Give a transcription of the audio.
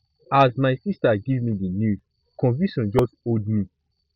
as my sista give me di news confusion just hold me